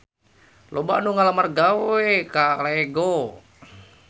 Loba anu ngalamar gawe ka Lego